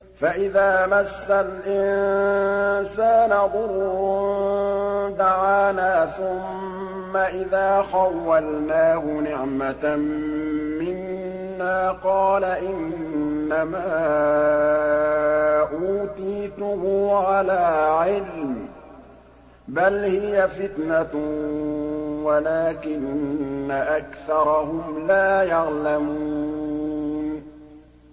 فَإِذَا مَسَّ الْإِنسَانَ ضُرٌّ دَعَانَا ثُمَّ إِذَا خَوَّلْنَاهُ نِعْمَةً مِّنَّا قَالَ إِنَّمَا أُوتِيتُهُ عَلَىٰ عِلْمٍ ۚ بَلْ هِيَ فِتْنَةٌ وَلَٰكِنَّ أَكْثَرَهُمْ لَا يَعْلَمُونَ